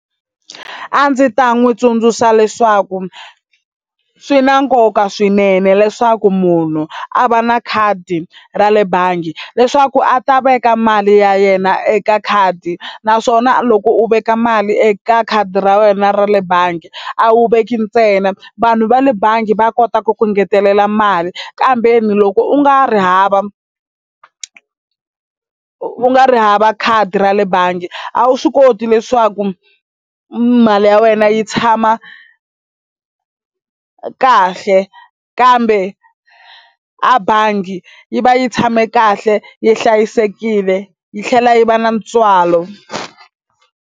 A ndzi ta n'wi tsundzuxa leswaku swi na nkoka swinene leswaku munhu a va na khadi ra le bangi leswaku a ta veka mali ya yena eka khadi naswona loko u veka mali eka khadi ra wena ra le bangi a wu veki ntsena vanhu va le bangi va kota ku ku engetelela mali kambe ni loko u nga ri hava u nga ri hava khadi ra le bangi a wu swi koti leswaku ku mali ya wena yi tshama kahle kambe a bangi yi va yi tshame kahle yi hlayisekile yi tlhela yi va na ntswalo.